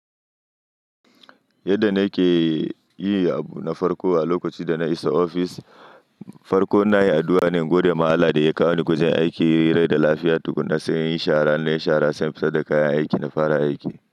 Yadda na ke yi abu na farko a lokacin da na isa ofis, farko ina yin addu'a ne in gode ma Allah da ya kawo ni gwajen aiki, rai da lafiya tukunna, sai in yi shara in nayi shara, sai in fitar da kayan aiki na fara aiki.